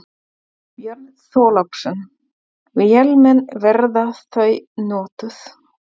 Björn Þorláksson: Vélmenni, verða þau notuð?